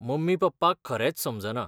Mummy पप्पाक खरेंच समजना.